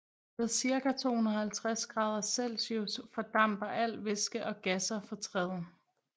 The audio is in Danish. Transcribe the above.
Ved cirka 250 grader Celsius fordamper al væske og gasser fra træet